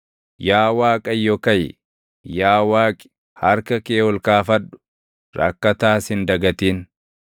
Yaa Waaqayyo kaʼi! Yaa Waaqi harka kee ol kaafadhu. Rakkataas hin dagatin.